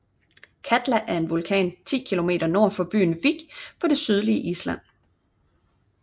Katla er en vulkan 10 km nord for bygden Vík på det sydlige Island